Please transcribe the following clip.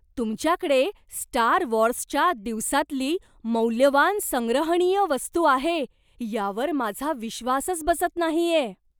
तुमच्याकडे स्टार वॉर्सच्या दिवसांतली मौल्यवान संग्रहणीय वस्तू आहे यावर माझा विश्वासच बसत नाहीये.